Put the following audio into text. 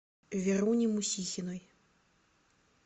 веруни мусихиной